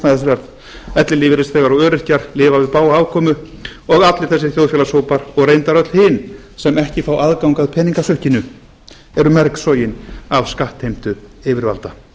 þegar ellilífeyrisþegar og öryrkjar og lifa við bága afkomu og allir þessir þjóðfélagshópar og reyndar öll hin sem ekki fá aðgang að peningasukkinu eru mergsognir af skattheimtu yfirvalda